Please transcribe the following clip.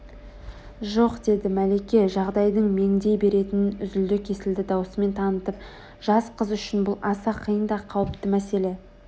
жоқ деді мәлике жағдайдың меңдей беретінін үзілді-кесілді даусымен танытып жас қыз үшін бұл аса қиын да қауіпті мәселе